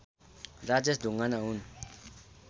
राजेश ढुङ्गाना हुन्